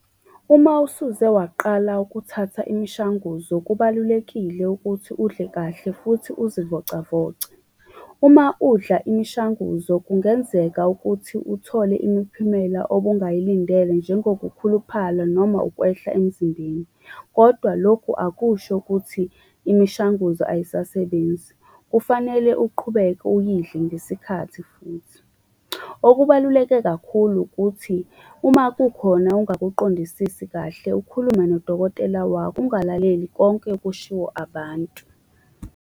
Uma usuze waqala ukuthatha imishanguzo kubalulekile ukuthi udle kahle, futhi uzivocavoce. Uma udla imishanguzo kungenzeka ukuthi uthole imiphumela obungayilindele njengokukhuluphala, noma ukwehla emzimbeni. Kodwa lokhu akusho ukuthi imishanguzo ayisasebenzi. Kufanele uqhubeke uyidle ngesikhathi futhi. Okubaluleke kakhulu ukuthi, uma kukhona ongakuqondisisi kahle, ukhulume nodokotela wakho, ungalaleli konke okushiwo abantu.